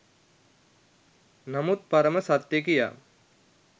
නමුත් පරම සත්‍ය කියා